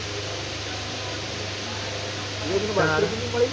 realme નો બારશો રૂપિયા ન જ મળી